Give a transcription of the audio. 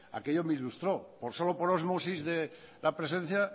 aquello me ilustro por solo por osmosis de la presencia